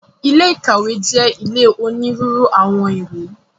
Ilé ìkàwé jẹ́ ilé onírúurú àwọn ìwé.